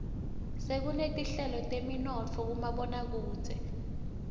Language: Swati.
sekunetinhlelo teteminotfo kumaboakudze